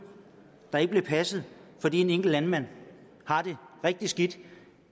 der ikke bliver passet fordi en enkelt landmand har det rigtig skidt